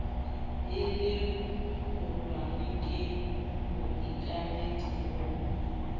e lekolwang ke bookamedi bo